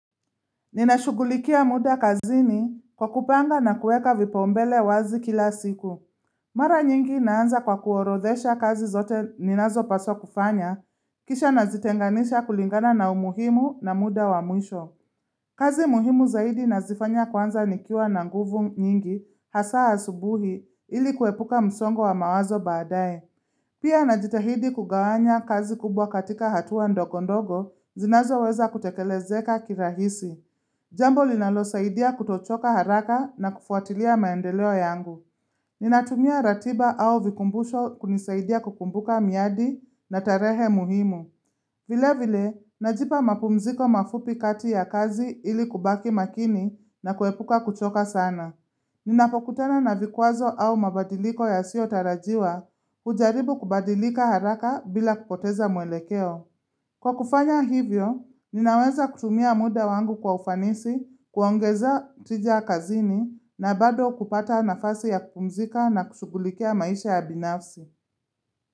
Ninashugulikia muda kazini kwa kupanga na kueka vipaumbele wazi kila siku. Mara nyingi naanza kwa kuorodhesha kazi zote ninazopaswa kufanya, kisha nazitenganisha kulingana na umuhimu na muda wa mwisho. Kazi muhimu zaidi nazifanya kwanza nikiwa na nguvu nyingi hasaa asubuhi ili kuepuka msongo wa mawazo baadae. Pia najitahidi kugawanya kazi kubwa katika hatua ndogondogo zinazoweza kutekelezeka kirahisi. Jambo linalosaidia kutochoka haraka na kufuatilia maendeleo yangu. Ninatumia ratiba au vikumbusho kunisaidia kukumbuka miadi na tarehe muhimu. Vile vile, najipa mapumziko mafupi kati ya kazi ili kubaki makini na kuepuka kuchoka sana. Ninapokutana na vikwazo au mabadiliko yasiotarajiwa, ujaribu kubadilika haraka bila kupoteza mwelekeo. Kwa kufanya hivyo, ninaweza kutumia muda wangu kwa ufanisi, kuongeza tija kazini, na bado kupata nafasi ya kupumzika na kushugulikia maisha ya binafsi.